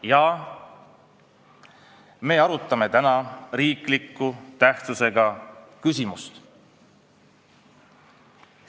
Täna me arutame riikliku tähtsusega küsimust.